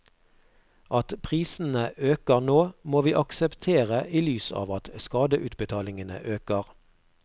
At prisene øker nå, må vi akseptere i lys av at skadeutbetalingene øker.